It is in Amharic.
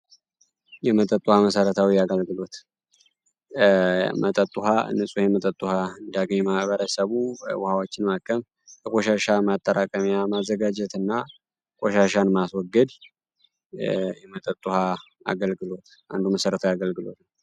የመጠጡ ውኋ መሠረታዊ ያጋልግሎት መጠጥ ውሃ ንጹ የመጠትሃ እንዳገይማ በረሰቡ ውሃዎችን ማከም በኮሻሻ ማጠራቀሚያ ማዘጋጀት እና ቈሻሻን ማስወገድ የመጠጡሃ አገልግሎት አንዱ መሠረታ ያገልግሎት ነው።